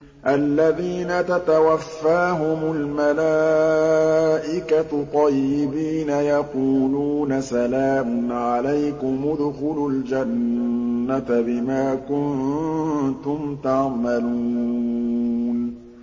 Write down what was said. الَّذِينَ تَتَوَفَّاهُمُ الْمَلَائِكَةُ طَيِّبِينَ ۙ يَقُولُونَ سَلَامٌ عَلَيْكُمُ ادْخُلُوا الْجَنَّةَ بِمَا كُنتُمْ تَعْمَلُونَ